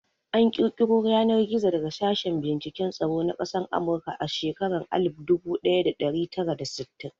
An ƙirƙiro Yanar-gizo daga sashen binciken tsaro na ƙasan amurka a shekaran Alif budu daya da dari tara da sittin.